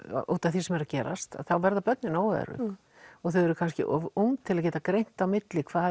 því sem er að gerast þá verða börnin óörugg og þau eru kannski of ung til að geta greint á milli hvað